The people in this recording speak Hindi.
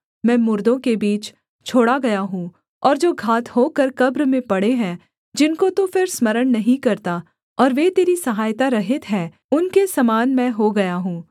मैं मुर्दों के बीच छोड़ा गया हूँ और जो घात होकर कब्र में पड़े हैं जिनको तू फिर स्मरण नहीं करता और वे तेरी सहायता रहित हैं उनके समान मैं हो गया हूँ